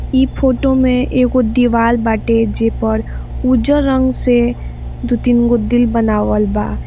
ई photo में एगो दीवाल बाटे जे पर उजर रंग से दू-तीनगो दिल बनावल बा।